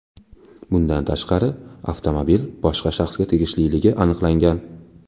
Bundan tashqari, avtomobil boshqa shaxsga tegishliligi aniqlangan.